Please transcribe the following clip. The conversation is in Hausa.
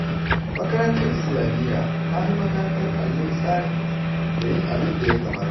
Makarantar islamiyya ta fi makarantar Allo tsari da yin abin da ya kamata